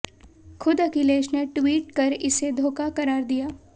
ख़ुद अखिलेश ने ट्वीट कर इसे धोखा क़रार दिया